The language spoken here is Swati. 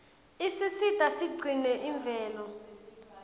isisita sigcine imvelo